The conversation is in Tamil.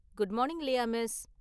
Good morning, Leah miss!